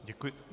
Děkuji.